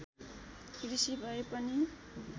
कृषि भए पनि